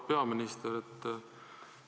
Auväärt peaminister!